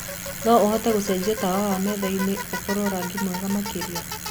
no ũhote gucenjia tawa wa methaĩnĩ ũkorwo rangĩ mwega makĩrĩa